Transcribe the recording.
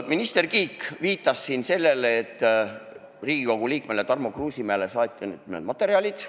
Minister Kiik viitas siin sellele, et Riigikogu liikmele Tarmo Kruusimäele saadeti need materjalid.